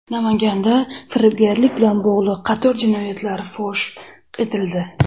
Namanganda firibgarlik bilan bog‘liq qator jinoyatlar fosh etildi.